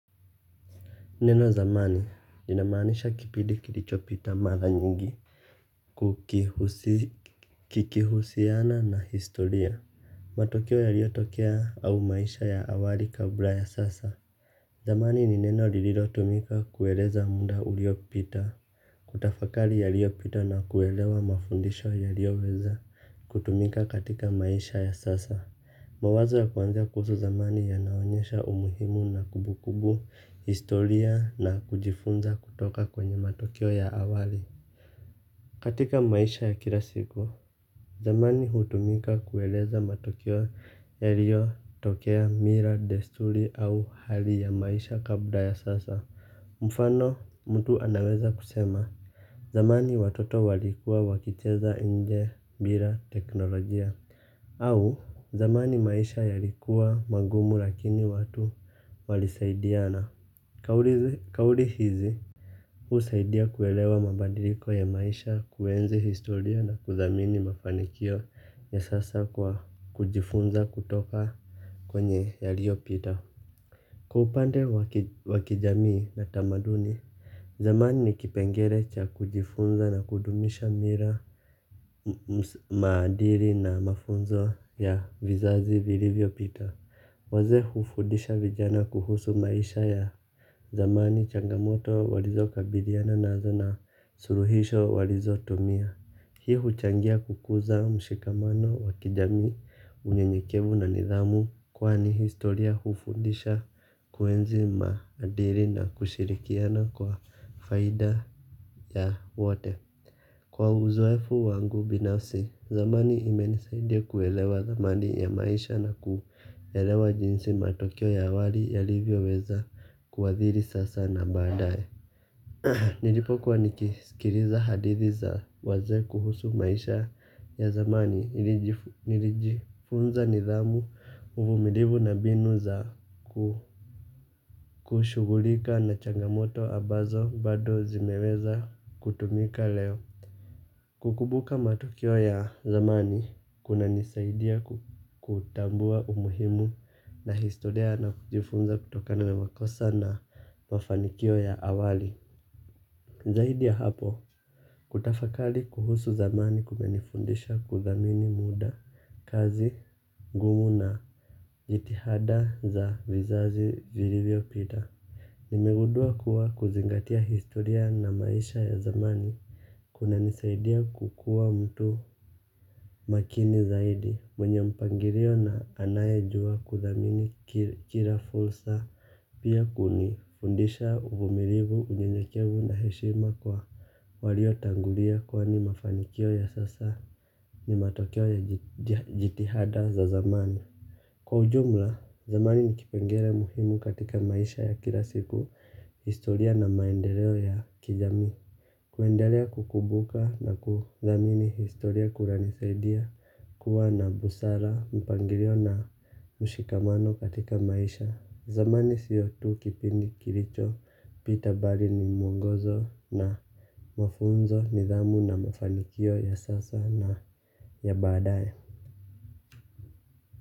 Neno zamani lina maanisha kipindi kilicho pita mara nyingi kikihusiana na historia matokeo yaliyotokea au maisha ya awali kabla ya sasa. Zamani ni neno lililotumika kueleza muda uliopita. Kutafakari yaliopita na kuelewa mafundisho yalioweza kutumika katika maisha ya sasa. Mawazo ya kuanzia kuhusu zamani yanaonyesha umuhimu na kumbukumbu historia na kujifunza kutoka kwenye matokeo ya awali. Katika maisha ya kila siku, zamani hutumika kueleza matokeo yalio tokea mila, desturi au hali ya maisha kabla ya sasa. Mfano, mtu anaweza kusema, zamani watoto walikua wakicheza nje bila teknolojia. Au zamani maisha yalikuwa magumu lakini watu walisaidiana. Kauli hizi husaidia kuelewa mabadiliko ya maisha kuenzi historia na kudhamini mafanikio ya sasa kujifunza kutoka kwenye yalio pita. Kwa upande wa kijamii na tamaduni zamani ni kipengele cha kujifunza na kudumisha mira maadili na mafunzo ya vizazi vilivyo pita. Wazee hufundisha vijana kuhusu maisha ya zamani changamoto walizo kabiliana nazo na suluhisho walizo tumia. Hii huchangia kukuza mshikamano wa kijamii unyenyekevu na nidhamu kwani historia hufundisha kuenzi madili na kushirikiana kwa faida ya wote. Kwa uzoefu wangu binafsi, zamani imenisaidia kuelewa dhamani ya maisha na kuelewa jinsi matokeo ya awali yalivyo weza kuadhiri sasa na baadaye. Nilipo kuwa nikisikiliza hadithi za wazee kuhusu maisha ya zamani nilijifunza nidhamu uvumilivu na mbinu za kushugulika na changamoto ambazo bado zimeweza kutumika leo. Kukumbuka matokeo ya zamani kunanisaidia kutambua umuhimu na historia na kujifunza kutokana makosa na mafanikio ya awali. Zaidi ya hapo, kutafakari kuhusu zamani kumenifundisha kudhamini muda, kazi, ngumu na jitihada za vizazi vilivyo pita. Nimegundua kuwa kuzingatia historia na maisha ya zamani kunanisaidia kukuwa mtu makini zaidi mwenye mpangilio na anayejua kudhamini kila fursa. Pia kuni fundisha uvumilivu unyenyekevu na heshima kwa walio tangulia kwani mafanikio ya sasa ni matokeo ya jitihada za zamani. Kwa ujumla, zamani ni kipengele muhimu katika maisha ya kila siku. Historia na maendeleo ya kijamii kuendelea kukumbuka na kudhamini historia kunanisaidia kuwa na busara, mpangilio na mshikamano katika maisha. Zamani siyo tu kipindi kilicho, pita bali ni mwongozo na mafunzo, nidhamu na mafanikio ya sasa na ya baadaye.